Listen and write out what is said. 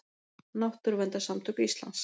Náttúruverndarsamtök Íslands.